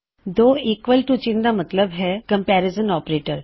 ਦੋ equal to ਚਿੱਨ੍ਹ ਦਾ ਮਤਲਬ ਹੈ ਕੰਮਪੇਰਿਜ਼ਨ ਆਪਰੇਟਰ